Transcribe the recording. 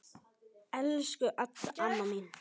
Elsku Adda amma mín.